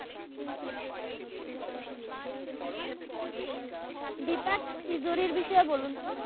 দিপাক তিজুরির বিষয়ে বলুন তো?